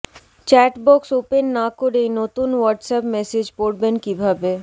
chat box open না করেই নতুন হোয়াটসঅ্যাপ মেসেজ পড়বেন কীভাবে